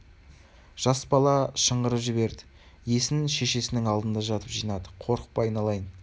жас бала шыңғырып жіберді есін шешесінің алдында жатып жинады қорықпа айналайын